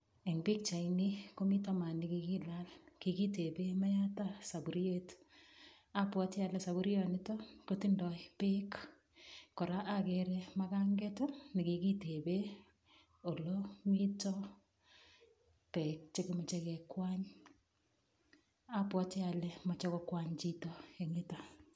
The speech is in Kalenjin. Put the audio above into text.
Eng' pikchaini komito maat nikikilal kikitebe mayata sapuriet apwoti ale sopurionito kotindoi beek kora akere makanget nekikitebe ole mito peek chekimeche kekwany abwoti ale mochei kokwany chito eng' yuto